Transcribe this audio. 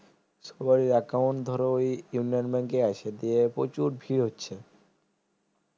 সবারই account ধরো ওই ইউনিয়ন bank আছে দিয়ে প্রচুর ভিড় হচ্ছে